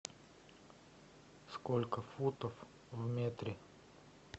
сколько футов в метре